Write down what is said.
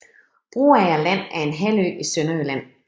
Broager Land er en halvø i Sønderjylland